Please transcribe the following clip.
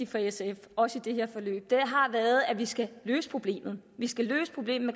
for sf også i det her forløb har været at vi skal løse problemet vi skal løse problemet